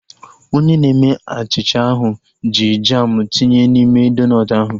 Onye na-eme achịcha ahu ji jamu tinye n'ime donut ahu